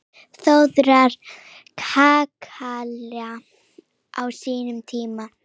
Þórðar kakala á sínum tíma.